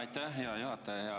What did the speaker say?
Aitäh, hea juhataja!